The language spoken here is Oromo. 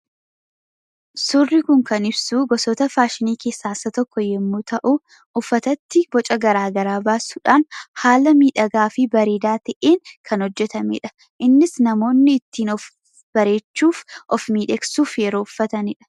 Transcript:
Suurri Kun kan ibsu, gosoota faashinii keessaa isa tokko yoo ta'u, uffatatti boca garaagaraa baasuudhaan haala miidhagaa fi bareedaa ta'een kan hojjetamedha. Innis namoonni ittiin of bareechuuf, of miidhagsuuf yeroo uffataniidha.